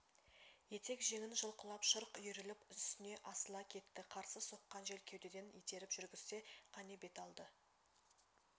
етек-жеңін жұлқылап шырқ үйіріліп үстіне асыла кетті қарсы соққан жел кеудеден итеріп жүргізсе қане бет алды